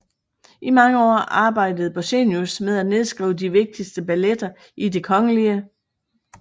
I mange år arbejdede Borchsenius med at nedskrive de vigtigste balletter i Det Kgl